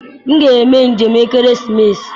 M ga-eme njem ekeresimesi.